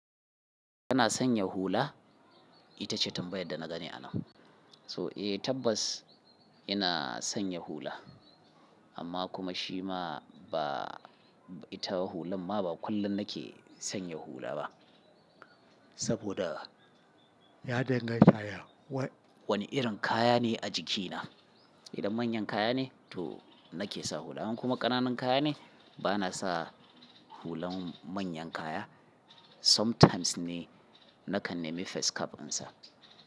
Kana sanya hula? Ita ce tambayar da na gani anan. So, eh tabbas ina sanya hula, amma kuma shi ma ba ita hulan ma ba kullum nake sanya hula ba. Saboda ya danganta wani irin kaya ne a jikina. Idan manyan kaya ne to nake sa hula, in kuma ƙananan kaya ne bana sa hulan manyan kaya. Sometimes ne nakan nemi face cap in sa.